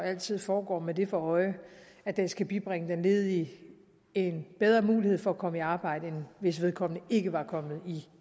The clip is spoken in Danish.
altid foregår med det for øje at det skal bibringe den ledige en bedre mulighed for at komme i arbejde end hvis vedkommende ikke var kommet